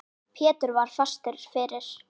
Pétur var fastur fyrir.